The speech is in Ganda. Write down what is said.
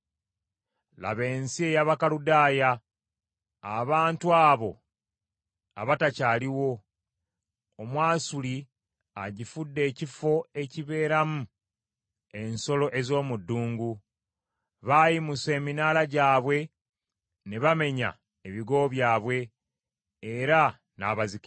Laba ensi ey’Abakaludaaya abantu abo abatakyaliwo. Omwasuli agifudde ekifo ekibeeramu ensolo ez’omu ddungu. Baayimusa eminaala gyabwe, ne bamenya ebigo byabwe, era n’abazikiriza.